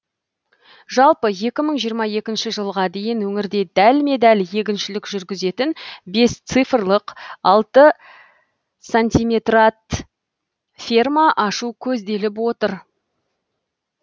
жалпы екі мың жиырма екінші жылға дейін өңірде дәлме дәл егіншілік жүргізетін бес цифрлық алты сантиметрат ферма ашу көзделіп отыр